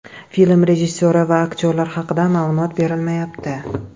Film rejissyori va aktyorlar haqida ma’lumot berilmayapti.